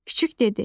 Küçüк dedi.